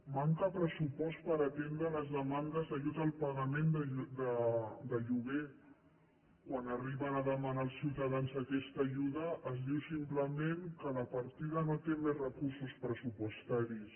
manca pressupost per atendre les demandes d’ajut al pagament de lloguer quan arriben a demanar els ciutadans aquesta ajuda es diu simplement que la partida no té més recursos pressupostaris